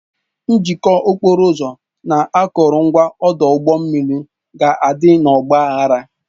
Njikọ okporo ụzọ na akụrụngwa ọdụ ụgbọ mmiri ga-adị n'ọgba aghara